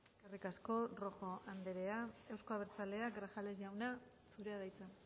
eskerrik asko rojo andrea euzko abertzaleak grajales jauna zurea da hitza